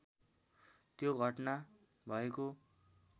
त्यो घटना भएको